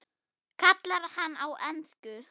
kallar hann á ensku.